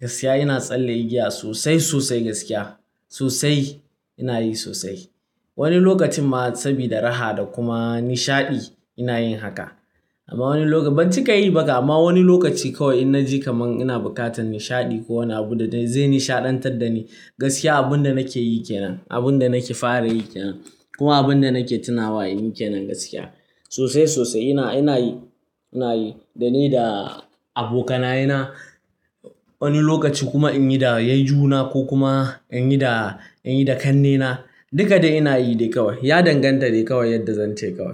Gaskiya ina tsalle igiya sosai, sosai gaskiya sosai ina yi sosai. Wani lokacin ma sabida raha da kuma nishaɗi ina yin haka. Amma wani lokacin, ban cika yi ba kam, amma wani lokaci kawai in na ji kaman ina buƙatar nishaɗi ko wani abu da zai nishaɗantar da ni, gaskiya abunda nake yi kenan. Abunda nake fara yi kenan, kuma abunda nake tunawa in yi kenan gaskiya. Sosai, sosai ina, ina yi, ina yi dani da abokanaye na. Wani lokaci kuma in yi da yayyuna ko kuma in yi da, in yi da ƙannena. Duka dai ina yi dai kawai, ya danganta dai kawai yanda zan ce kawai.